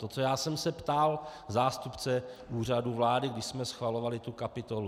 To, co já jsem se ptal zástupce Úřadu vlády, když jsme schvalovali tu kapitolu.